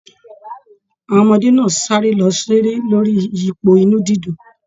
Àwọn ọmọdé náà sáré lọ seré lórí iyipo inú dídùn.